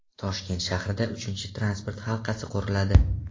Toshkent shahrida uchinchi transport halqasi quriladi.